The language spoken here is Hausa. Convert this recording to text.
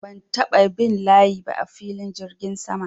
Ban taɓa bin layi ba a filin jirgin sama.